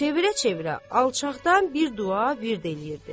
Çevirə-çevirə alçaqdan bir dua pirdə eləyirdi.